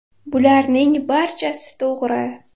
Bularning barchasi to‘g‘ri.